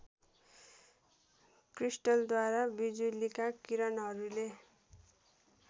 क्रिस्टलद्वारा बिजुलीका किरणहरूले